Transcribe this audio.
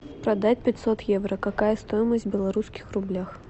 продать пятьсот евро какая стоимость в белорусских рублях